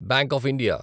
bank of India